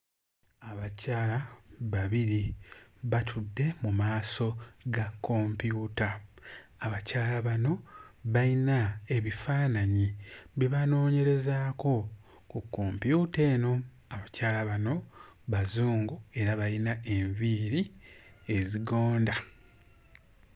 Abakyala babiri batudde mu maaso ga kompyuta. Abakyala bano bayina ebifaananyi bye banoonyerezaako ku kompyuta eno. Abakyala bano Bazungu era bayina enviiri ezigonda.